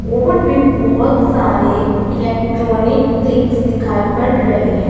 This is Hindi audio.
और भी बहोत सारे इलेक्ट्रॉनिक थिंग्स दिखाई पड़ रहे हैं।